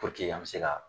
an bɛ se ka